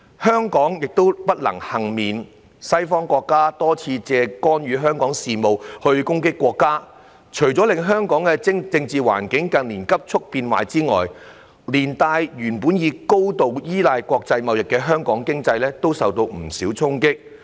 香港亦不能幸免，西方國家多次借干預香港事務攻擊國家，除了令香港政治環境近年急促變壞外，連帶原本高度依賴國際貿易的香港經濟都受到不少衝擊。